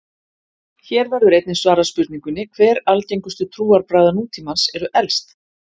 Hér verður einnig svarað spurningunni: Hver algengustu trúarbragða nútímans eru elst?